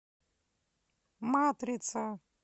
матрица